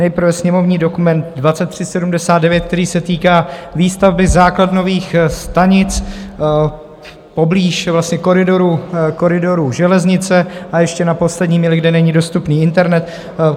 Nejprve sněmovní dokument 2379, který se týká výstavby základnových stanic poblíž koridorů železnice a ještě na poslední míli (?), kde není dostupný internet.